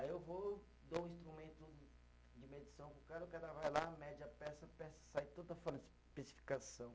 Aí eu vou, dou um instrumento de medição para o cara, o cara vai lá, mede a peça, a peça sai toda